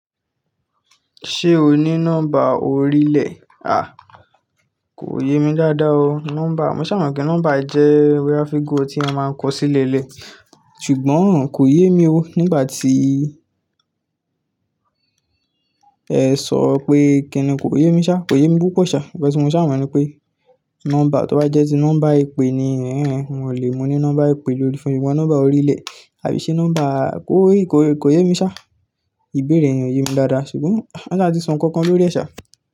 Ṣé o ní nọ́mbà orílẹ̀? À, kò yé mi dáadáa o nọ́mbà. Mo ṣà mo pé nọ́mbà jẹ́ wérafígò tí a máa ń kọ sílẹ̀ lẹ́ẹ̀, ṣùgbọ́n kò yé mi o. Nígbà tí ẹ sọ pé kí ni kò yé mi ṣá, kò yé mi púpọ̀ ṣá. Ọ̀pẹ ṣé mo ṣá mo ni pé nọ́mbà tó bá jẹ́ tí nọ́mbà ìpè ni hẹ́hẹ́ n ò lè mo ní nọ́mbà ìpè lórí foonu ṣùgbọ́n nọ́mbà orílẹ̀ àbí ṣe nọ́mbà kò yé, kò yé mi ṣá. Ìbéèrè yẹn ò yé mi dáadáa ṣùgbọ́n á sa ti sọ nǹkan kan lórí ẹ̀ ṣá.